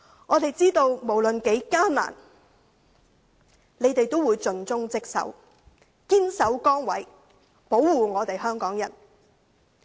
我們知道無論多麼艱難，他們仍會盡忠職守，堅守崗位，保護香港人。